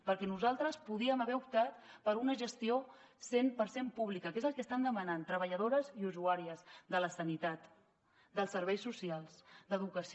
perquè nosaltres podíem haver optat per una gestió cent per cent pública que és el que estan demanant treballadores i usuàries de la sanitat dels serveis socials d’educació